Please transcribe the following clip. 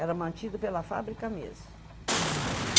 Era mantido pela fábrica mesmo.